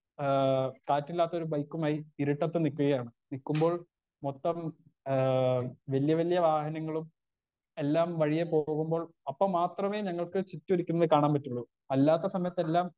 Speaker 1 ആ കാറ്റില്ലാത്തൊരു ബൈക്കുമായി ഇരുട്ടത്ത് നിക്കുകയാണ് നിക്കുമ്പോൾ മൊത്തം ആ വല്ല്യ വല്ല്യ വാഹനങ്ങളും എല്ലാം വഴിയേ പോകുമ്പോൾ അപ്പോൾ മാത്രമേ ഞങ്ങൾക്ക് ചുറ്റുരിക്കുന്നത് കാണാൻ പറ്റുള്ളൂ അല്ലാത്ത സമയത്തെല്ലാം.